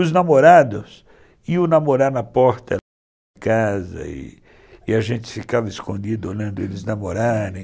Os namorados iam namorar na porta da casa e a gente ficava escondido olhando eles namorarem.